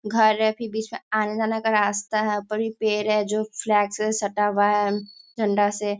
घर है अथी बीच में आने जाने का रास्ता है। ऊपर ही पेड़ है जो फ्लैट से सटा हुआ है झंडा से।